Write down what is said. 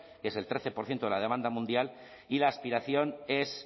que es el trece por ciento de la demanda mundial y la aspiración es